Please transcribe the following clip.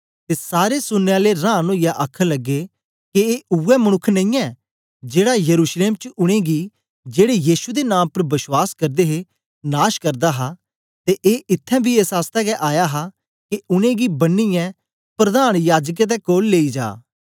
ते सारे सुनने आले रांन ओईयै आखन लगे के ए उवै मनुक्ख नेईयैं जेड़ा यरूशलेम च उनेंगी जेड़े यीशु दे नां उपर बश्वास करदे हे नाश करदा हा ते ए इत्थैं बी एस आसतै गै आया हा के उनेंगी बन्नीयै प्रधान याजकें दे कोल लेई जा